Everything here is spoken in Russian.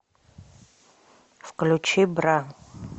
включи бра